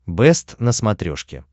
бэст на смотрешке